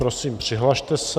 Prosím, přihlaste se.